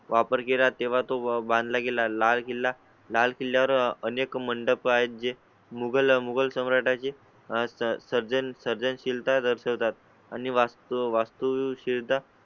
वापर केला तेव्हा तो बांधला गेला. लाल किल्ला लाल किल्ल्या वर अनेक मंडप आहेत जे मुगल मुगल सम्राटा चे सर्जन सर्जनशील ता दर्शवतात आणि वास्तू, वास्तू शिर धा